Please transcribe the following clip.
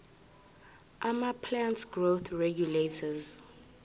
amaplant growth regulators